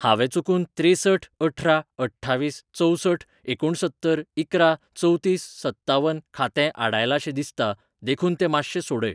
हांवें चुकून त्रेसठ अठरा अठ्ठावीस चंवसठ एकुणसत्तर इकरा चवतीस सत्तावन खातें आडायलांशें दिसता देखून तें मातशें सोडय.